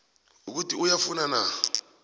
ukuthi uyafuna na